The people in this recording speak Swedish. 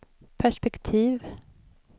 perspektiv